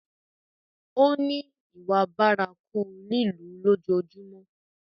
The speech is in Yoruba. Ó ní ìwà bárakú lílù ú lójoojúmọ́.